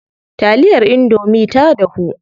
Taliyar indomie ta dahu.